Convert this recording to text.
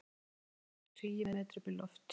Eldtungur tugi metra upp í loft